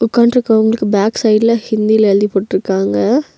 உக்கான்ருக்கவங்களுக்கு back சைடுல ஹிந்தில எழுதி போட்ருக்காங்க.